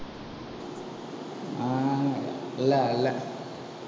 இல்லை இல்லை